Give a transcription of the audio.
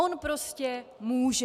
On prostě může!